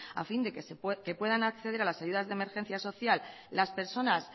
a fin de que puedan acceder a las ayudas de emergencia social las personas